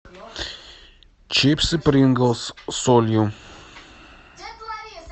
чипсы принглс с солью